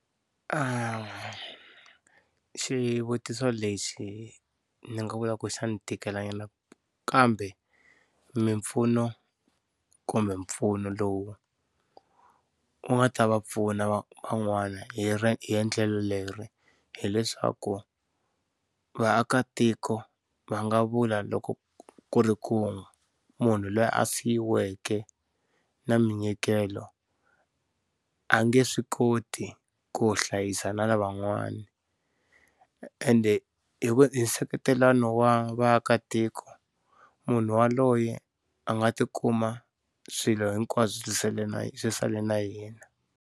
Xivutiso lexi ndzi nga vula ku xa ni tikelanyana kambe mimpfuno kumbe mpfuno lowu u nga ta va pfuna va n'wana hi endlelo leri hileswaku vaakatiko va nga vula loko ku ri ku munhu loyi a siyiweke na minyikelo a nge swi koti ku hlayisa na lava n'wana ende hi nseketelano wa vaakatiko munhu yaloye a nga ti kuma swilo hinkwaswo swi sele na yena.